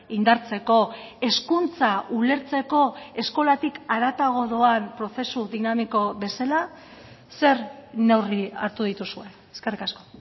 indartzeko hezkuntza ulertzeko eskolatik haratago doan prozesu dinamiko bezala zer neurri hartu dituzue eskerrik asko